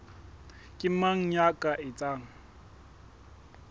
ke mang ya ka etsang